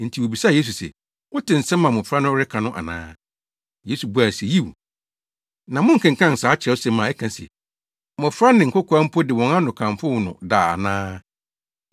Enti wobisaa Yesu se, “Wote nsɛm a mmofra no reka no ana?” Yesu bua se, “Yiw. Na monkenkan saa Kyerɛwsɛm a ɛka se, “ ‘Mmofra ne nkokoaa mpo de wɔn ano kamfo wo’ no da, ana?”